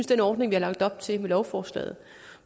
den ordning vi har lagt op til med lovforslaget